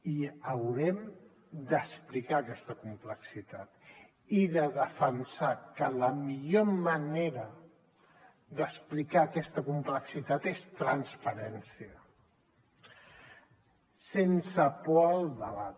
i haurem d’explicar aquesta complexitat i de defensar que la millor manera d’explicar aquesta complexitat és transparència sense por al debat